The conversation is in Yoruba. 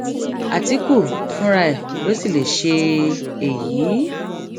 àtìkù fúnra ẹ ló sì lè ṣe èyí